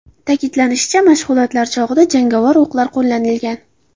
Ta’kidlanishicha, mashg‘ulotlar chog‘ida jangovar o‘qlar qo‘llanilgan.